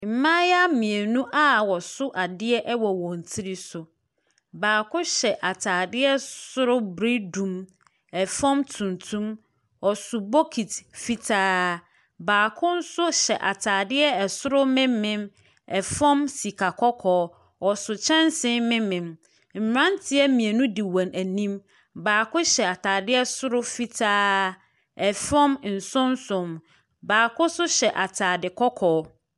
Mmayewa mmienu a wɔso adeɛ wɔ wɔn tiri so. Baako hyɛ atadeɛ soro biridum, fam tuntum. Ɔso bokiti fitaa. Baako nso hyɛ atadeɛ soro memem, fam sika kɔkɔɔ. Ɔso kyɛnse memem. Mmeranteɛ mmienu di wɔn anim. Baako hyɛ atadeɛ soro fitaa, fam nson nson. Baako nso hyɛ atade kɔkɔɔ.